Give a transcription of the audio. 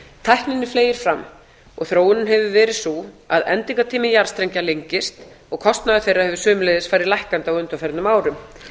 tækninni fleygir fram og þróunin hefur verið sú að endingartími jarðstrengja lengist og kostnaður þeirra hefur einnig farið lækkandi á undanförnum árum